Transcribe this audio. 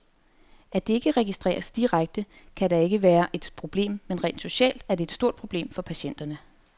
At det ikke registreres direkte, kan da ikke være et problem, men rent socialt er det et stort problem for patienterne.